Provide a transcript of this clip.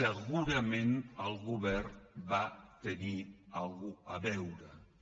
segurament el govern va tenir alguna cosa a veure hi